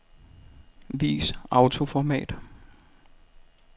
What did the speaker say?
Vis autoformat.